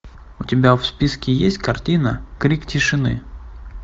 у тебя в списке есть картина крик тишины